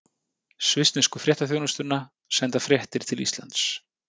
Svissnesku fréttaþjónustuna, senda fréttir til Íslands.